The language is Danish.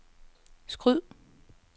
skyd